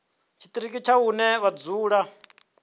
tshiṱiriki tsha hune vha dzula